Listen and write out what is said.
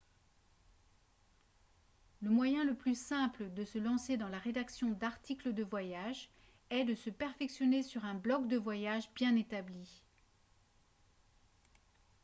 le moyen le plus simple de se lancer dans la rédaction d'articles de voyage est de se perfectionner sur un blogue de voyage bien établi